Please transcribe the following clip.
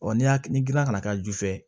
n'i y'a ni kana ju fɛ